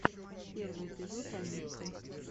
первый эпизод анитты